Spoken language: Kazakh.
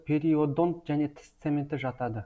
периодонт және тіс цементі жатады